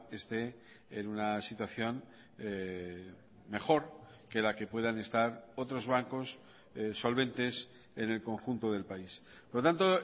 esté en una situación mejor que la que puedan estar otros bancos solventes en el conjunto del país por lo tanto